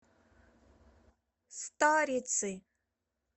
старицы